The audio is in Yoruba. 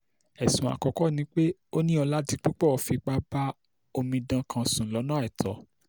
ẹ̀sùn àkọ́kọ́ ni pé ó ní oládìpúpọ̀ fipá bá omidan kan sùn lọ́nà àìtọ́